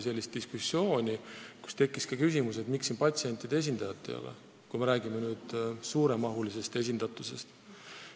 Diskussiooni käigus tekkis ka küsimus, miks nõukogus patsientide esindajat ei ole, kui me räägime suuremahulisest esindusest.